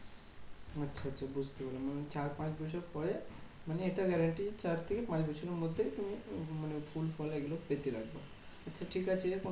আচ্ছা আচ্ছা বুঝতে পারলাম। চার পাঁচ বছর পরে মানে এটা guarantee চার থেকে পাঁচ বছরের মধ্যে তুমি ফুল ফল এগুলো পেতে থাকবে। আচ্ছা ঠিক আছে